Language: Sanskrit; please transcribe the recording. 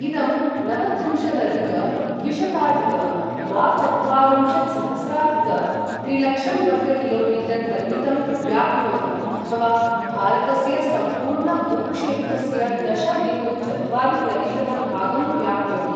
इदं नवत्रिंशदधिक द्विशताधिक द्वाचत्वारिंशत्सहस्राधिक त्रिलक्षंवर्गकिलोमीटर् परिमितं व्याप्नोति अथवा भारतस्य सम्पूर्णभूक्षेत्रस्य दश बिन्दु चत्वारि प्रतिशतं भागं व्याप्नोति।